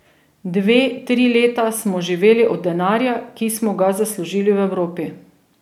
Dve, tri leta smo živeli od denarja, ki smo ga zaslužili v Evropi.